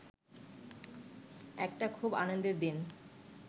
একটা খুব আনন্দের দিন